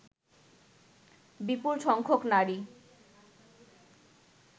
বিপুল সংখ্যক নারী